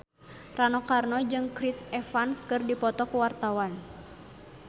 Rano Karno jeung Chris Evans keur dipoto ku wartawan